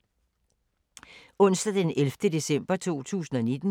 Onsdag d. 11. december 2019